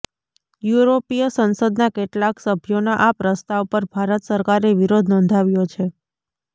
યુરોપીય સંસદના કેટલાક સભ્યોના આ પ્રસ્તાવ પર ભારત સરકારે વિરોધ નોંધાવ્યો છે